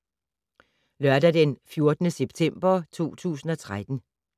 Lørdag d. 14. september 2013